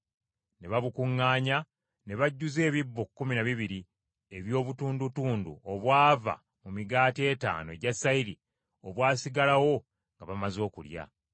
Ne babukuŋŋaanya, ne bajjuza ebisero kkumi na bibiri eby’obutundutundu obwava mu migaati etaano egya sayiri, obwasigalawo nga bamaze okulya.